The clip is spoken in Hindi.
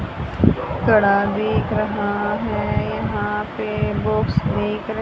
थोड़ा दिख रहा है यहां पे बॉक्स दिख र--